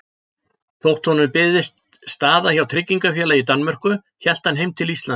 Þótt honum byðist staða hjá tryggingarfélagi í Danmörku hélt hann heim til Íslands.